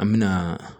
An me na